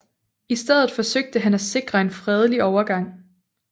I stedet forsøgte han at sikre en fredelig overgang